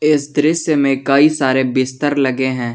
इस दृश्य में कई सारे बिस्तर लगे है।